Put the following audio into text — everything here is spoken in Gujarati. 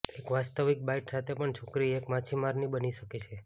એક વાસ્તવિક બાઈટ સાથે પણ છોકરી એક માછીમારની બની શકે છે